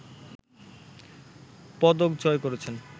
পদক জয় করেছেন